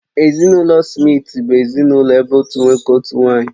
Ezinụlọ Smith bụ ezinụlọ ebe otu nwoke, otu nwanyị